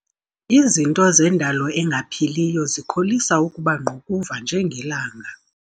Izinto zendalo engaphiliyo zikholisa ukuba ngqukuva njengelanga.